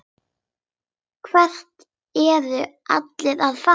Hvert eru allir að fara?